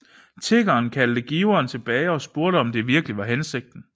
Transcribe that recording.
Tiggeren kaldte giveren tilbage og spurgte om det virkelig var hensigten